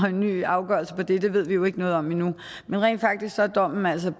en ny afgørelse på det det ved vi jo ikke noget om endnu men rent faktisk er dommen altså